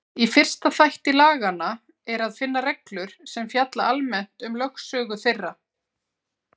Í fyrsta þætti laganna er að finna reglur sem fjalla almennt um lögsögu þeirra.